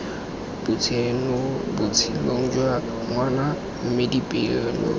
botshelong jwa ngwana mme dipoelo